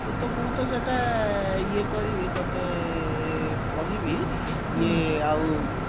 ମୁଁ ତ ସେଟା ଇଏ କରିବି ତତେ କହିବି ଯେ ଆଉ